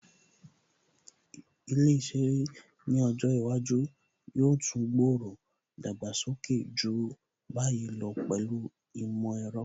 Ilé ìṣeré ni ọjọ́ iwájú yóò tún gbòòrò/ dàgbàsókè ju báyìí lọ pẹ̀lú ìmọ̀ ẹ̀rọ